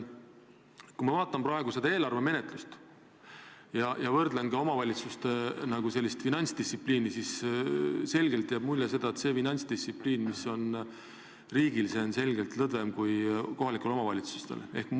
Kui ma vaatan praegu riigieelarve menetlust ja võrdlen seda omavalitsuste finantsdistsipliiniga, siis jääb mulje, et riigi finantsdistsipliin on selgelt lõdvem kui kohalike omavalitsuste oma.